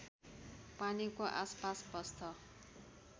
पानीको आसपास बस्छ